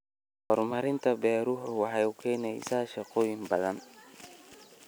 Horumarinta beeruhu waxay keenaysaa shaqooyin badan.